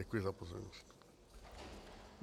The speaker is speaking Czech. Děkuji za pozornost.